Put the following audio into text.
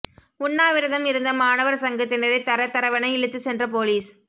உண்ணாவிரதம் இருந்த மாணவர் சங்கத்தினரை தர தரவென இழுத்து சென்ற போலீஸ்